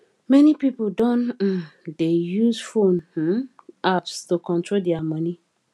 many people don um dey use phone um apps to control dia money